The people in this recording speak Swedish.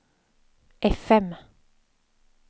fm